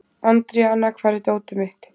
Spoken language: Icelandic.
Andríana, hvar er dótið mitt?